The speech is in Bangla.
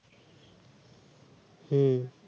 হু